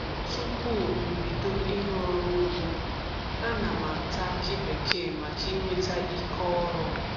Tupu m bido ịrụ ọrụ ugbo a na m ata akị bekee maka inweta ike ọrụ.